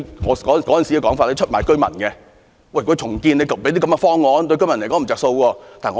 我當時指他們出賣居民，就重建提出的方案對居民沒有益處。